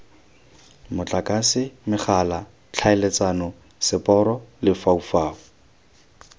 motlakase megala tlhaeletsano seporo lefaufau